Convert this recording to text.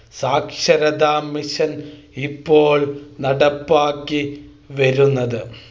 സാക്ഷരതാ മിഷൻ ഇപ്പോൾ നടപ്പാക്കി വരുന്നത്